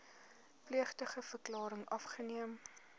plegtige verklaring afgeneem